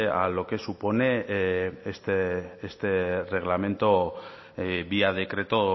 a lo que supone este reglamento vía decreto